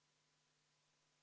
Helle-Moonika Helme, palun!